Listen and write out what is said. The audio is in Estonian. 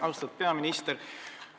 Austatud peaminister!